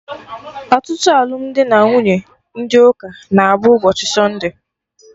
Ọtụtụ alụmdi na nwunye ndị ụka na-abụ ụbọchị satude